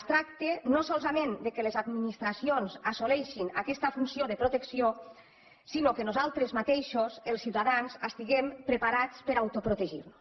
es tracta no solament que les administracions assoleixin aquesta funció de protecció sinó que nosaltres mateixos els ciutadans estiguem preparats per a autoprotegir nos